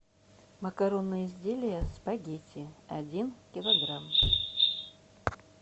макаронные изделия спагетти один килограмм